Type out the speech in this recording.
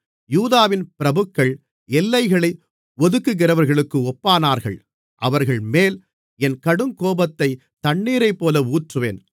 யூதாவின் பிரபுக்கள் எல்லைகளை ஒதுக்குகிறவர்களுக்கு ஒப்பானார்கள் அவர்கள்மேல் என் கடுங்கோபத்தைத் தண்ணீரைப்போல ஊற்றுவேன்